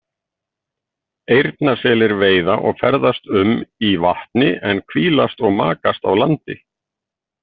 Eyrnaselir veiða og ferðast um í vatni en hvílast og makast á landi.